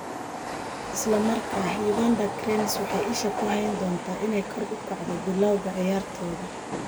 Isla markaa, Uganda Cranes waxay isha ku hayn doontaa inay kor u kacdo bilowga ciyaartooda.